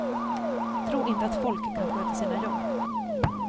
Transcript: Tro inte att folk kan sköta sina jobb.